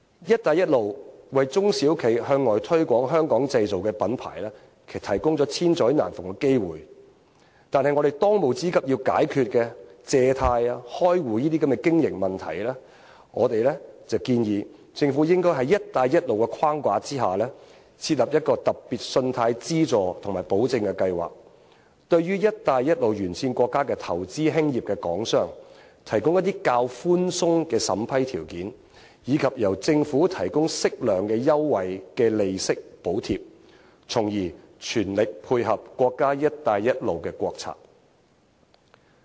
"一帶一路"為中小型企業向外推廣香港製造的品牌提供了千載難逢的機遇，但我們當務之急需要解決借貸、開戶等經營問題，我建議政府應該在"一帶一路"的框架下，設立一個特別信貸資助及保證計劃，對於"一帶一路"沿線國家投資興業的港商，提供較為寬鬆的審批條件，以及由政府提供適量的優惠利息補貼，從而全力配合國家"一帶一路"的國策。